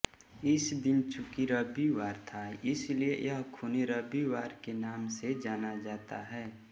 इस दिन चूँकि रविवार था इसलिए यह ख़ूनी रविवार के नाम से जाना जाता है